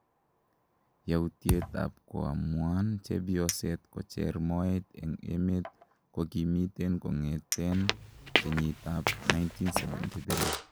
yautiet ab koamuan chepyoset kocher moet en emet kokimiten kongeten kenyiit ab 1973